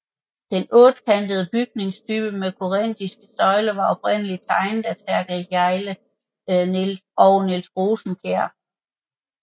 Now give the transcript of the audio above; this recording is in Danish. Den ottekantede bygningstype med korinthiske søjler var oprindeligt tegnet af Therkel Hjejle og Niels Rosenkjær